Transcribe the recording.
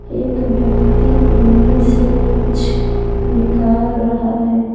एक व्यक्ति उनमें से कुछ निकाल रहा है।